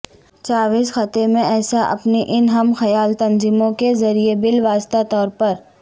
Chavez خطے میں ایسا اپنی ان ہم خیال تنظیموں کے ذریعے بالاواسطہ طور پر